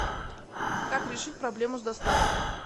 как решить проблему с доставкой